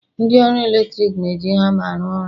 ndị ọrụ eletrik na-eji hama arụ ọrụ